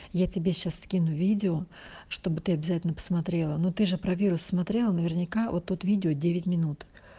я тебе сейчас скину видео чтобы ты обязательно посмотрела но ты же про вирус смотрела наверняка вот тут видео девять минут